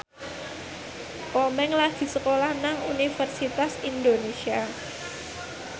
Komeng lagi sekolah nang Universitas Indonesia